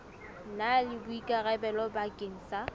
na le boikarabelo bakeng sa